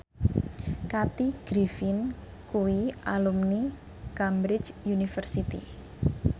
Kathy Griffin kuwi alumni Cambridge University